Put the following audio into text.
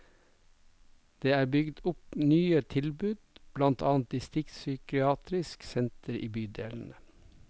Det er bygget opp nye tilbud, blant annet distriktspsykiatriske sentre i bydelene.